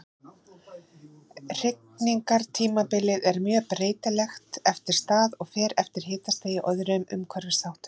Hrygningartímabilið er mjög breytilegt eftir stað og fer eftir hitastigi og öðrum umhverfisþáttum.